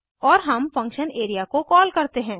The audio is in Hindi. और हम फंक्शन एरिया को कॉल करते हैं